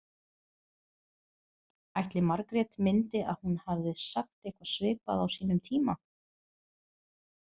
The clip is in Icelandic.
Ætli Margrét myndi að hún hafði sagt eitthvað svipað á sínum tíma?